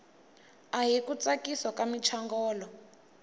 ahi ku tsakisa ka muchongolo